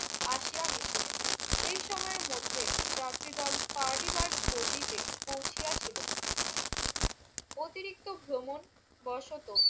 আসিয়া মিশিলেন। এই সময়ের মধ্যে যাত্রীদল পারডিবার্গ পল্লীতে পৌঁছিয়াছিল। অতিরিক্ত ভ্রমণবশত